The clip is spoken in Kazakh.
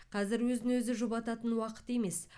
қазір өзін өзі жұбататын уақыт емес